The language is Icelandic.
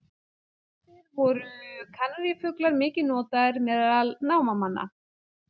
Áður fyrr voru kanarífuglar mikið notaðir meðal námamanna.